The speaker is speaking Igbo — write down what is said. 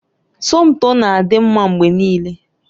Somto na-adị mma mgbe niile